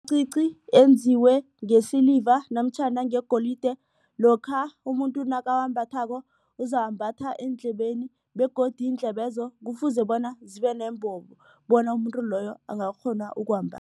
enziwe ngesiliva namtjhana ngegolide lokha umuntu nakawambathako uzawambatha eendlebeni begodu iindlebezo kufuze bona zibe nombobo bona umuntu loyo angakghona